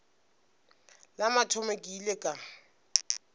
la mathomo ke ile ka